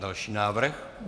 Další návrh.